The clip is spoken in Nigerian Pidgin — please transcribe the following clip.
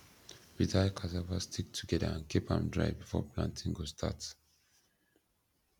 we tie cassava stick together and keep am dry before planting go start